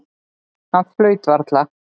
Hann flaut varla.